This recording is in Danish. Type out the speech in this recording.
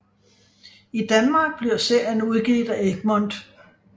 I Danmark bliver serien udgivet af Egmont